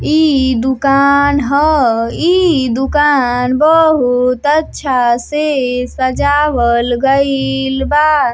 ई ई दुकान ह। ई दुकान बहोत अच्छा से सजावल गलई बा।